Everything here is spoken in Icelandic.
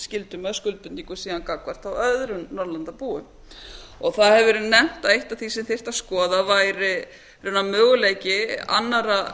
skyldum eða skuldbindingum gagnvart öðrum norðurlandabúum það hefur verið nefnt að eitt af því sem þyrfti að skoða væri raunar möguleiki annarra